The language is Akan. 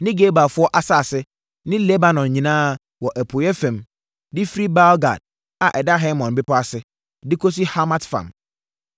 ne Gebalfoɔ asase ne Lebanon nyinaa wɔ apueeɛ fam, de firi Baal-Gad a ɛda Hermon bepɔ ase, de kɔsi Hamat fam.